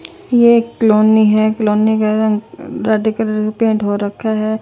ये एक क्लोनि है क्लोनि का रंग रेड कलर पैंट हो रखा है।